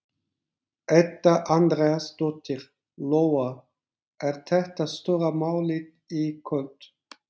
Edda Andrésdóttir: Lóa, er þetta stóra málið í kvöld?